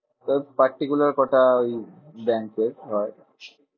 তো particular কটা ওই ব্যাঙ্কে হয়।